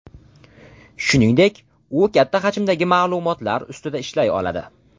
Shuningdek, u katta hajmdagi ma’lumotlar ustida ishlay oladi.